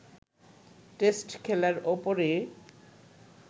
test খেলার ওপরই